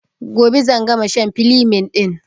Gobe zan gama shan filemin ɗin